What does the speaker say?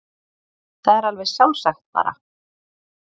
Það er alveg sjálfsagt bara.